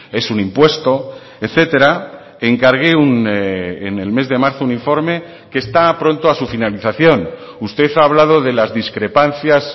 es un impuesto etcétera encargué en el mes de marzo un informe que está pronto a su finalización usted ha hablado de las discrepancias